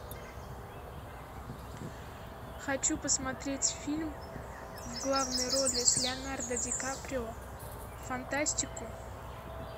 хочу посмотреть фильм в главной роли с леонардо ди каприо фантастику